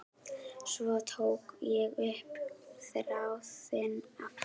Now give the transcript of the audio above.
Svo tók ég upp þráðinn aftur.